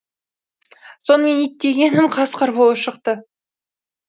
сонымен ит дегенім қасқыр болып шықты